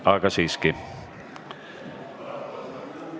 Hääletustulemused Selle muudatusettepaneku poolt oli 49 ja vastu samuti 49 kolleegi.